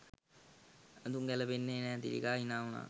ඇඳුම් ගැලපෙන්නෙ නෑ" තිලකා හිනා උනා.